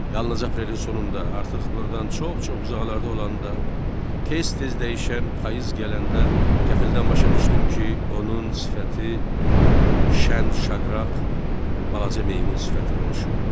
Yalnız aprelin sonunda, artıq burdan çox-çox uzaqlarda olanda, tez-tez dəyişən payız gələndə, qəfildən başa düşdüm ki, onun sifəti şən-şaqraq balaca meymun sifətinə oxşayırmış.